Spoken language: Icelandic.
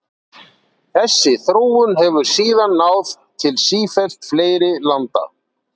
Þessi þróun hefur síðan náð til sífellt fleiri landa.